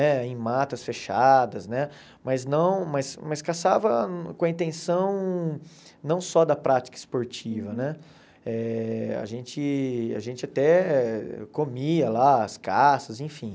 eh em matas fechadas né, mas não mas mas caçava com a intenção não só da prática esportiva né, eh a gente a gente até comia lá, as caças, enfim.